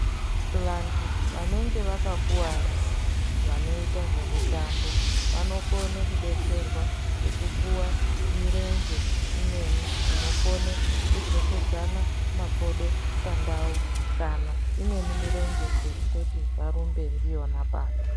Vantu vanenge vakakuvara vanoita zvemitambo vanokone kudetserwa ngekupuwa mirenje imweni inokone kudzokedzana makodo pandau kana imweni mirenje yekuti varumbe ndiyona.